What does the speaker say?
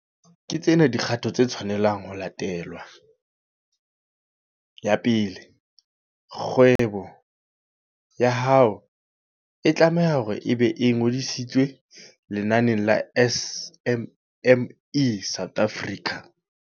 Ke tsena dikgato tse tshwanelang ho latelwa. Ya pele, kgwebo ya hao e tlame-ha hore e be e ngodisitswe lenaneng la SMME South Africa.